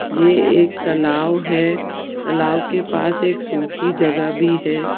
ये एक तलाव है तलाव के पास एक सुखी जगह भी है।